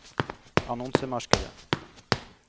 annonsemarkedet